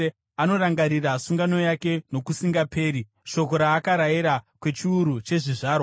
Anorangarira sungano yake nokusingaperi, shoko raakarayira, kwechiuru chezvizvarwa.